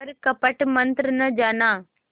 पर कपट मन्त्र न जाना